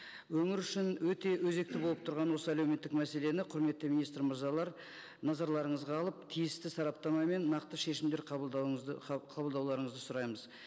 өңір үшін өте өзекті болып тұрған осы әлеуметтік мәселені құрметті министр мырзалар назарларыңызға алып тиісті сараптама мен нақты шешімдер қабылдауыңызды қабылдауларыңызды сұраймыз